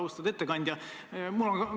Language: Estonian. Austatud ettekandja!